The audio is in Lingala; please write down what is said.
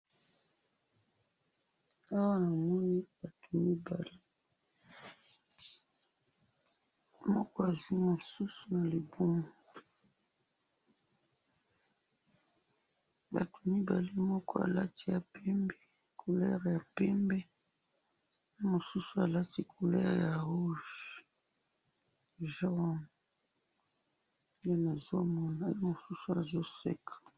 Awa namoni batu mibale, moko azwi mususu nalibumu, batu mibale moko alati couleur ya pembe, mosusu alati couleur ya rouge jaune, nde nazomona, mosusu azoseka